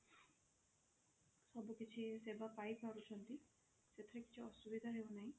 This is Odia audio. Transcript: ସବୁ କିଛି ସେବା ପାଇ ପାରୁଛନ୍ତି ସେଥିରେ କିଛି ଅସୁବିଧା ହେଉ ନାହିଁ